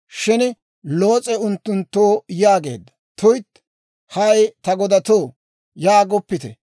Shin Loos'e unttunttoo yaageedda; «Tuytti! Hay ta godatoo, yaagoppite.